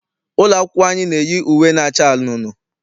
Ụlọ akwụkwọ anyị na-eyi uwe na-acha anunuu.